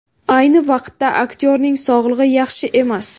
Ayni vaqtda aktyorning sog‘lig‘i yaxshi emas.